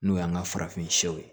N'o y'an ka farafin siyɛw ye